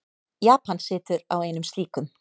Japan situr á einum slíkum.